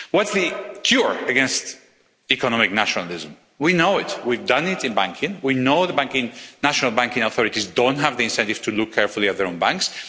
What's the cure against economic nationalism? We know it. We've done it in banking. We know the national banking authorities don't have the incentive to look carefully at their own banks.